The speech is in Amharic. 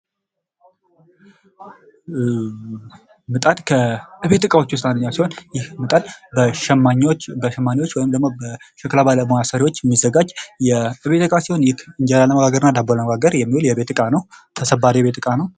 ምጣድ ከቤት እቃዎች ውስጥ አንዱ ሲሆን ይህ ምጣድ በሸክላ ባለሙያዎች የሚዘጋጅ የቤት እቃ ሲሆን እንጀራና ዳቦ ለመጋገር የሚያገለግል ተሰባሪ የቤት ዕቃ ነው።